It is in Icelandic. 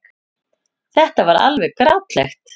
Þetta var alveg grátlegt.